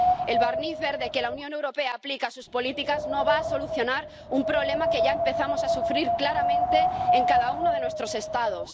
El barniz verde que la Unión Europea aplica a sus políticas no va a solucionar un problema que ya empezamos a sufrir claramente en cada uno de nuestros Estados.